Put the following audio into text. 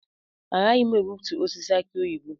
Agaghị m egbutu osisi aki oyibo.